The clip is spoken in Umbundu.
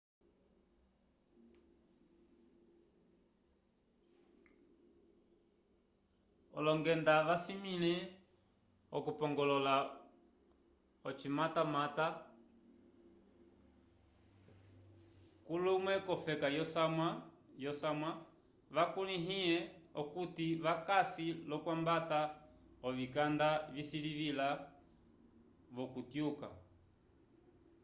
olongenda vasimĩle okupongolola ocimatamata culume k'ofeka yosamwa vakulĩhe okuti vakasi l'okwambata ovikanda visilivila-vo k'okutyuka